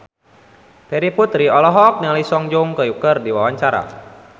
Terry Putri olohok ningali Song Joong Ki keur diwawancara